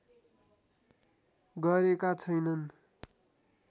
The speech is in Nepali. गरेका छैनन्